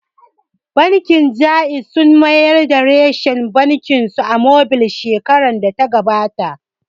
Bankin Jaiz sun mayar da reshen bankin su mobil shekarar da ta gabata